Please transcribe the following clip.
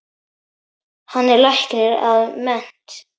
Hann er læknir að mennt.